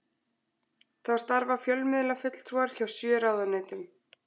Þá starfa fjölmiðlafulltrúar hjá sjö ráðuneytum